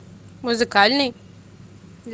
музыкальный